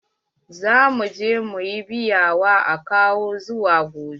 Za mu je mu ƴi biya wa akawu zuwa gobe.